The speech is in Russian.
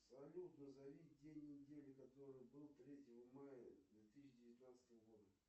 салют назови день недели который был третьего мая две тысячи девятнадцатого года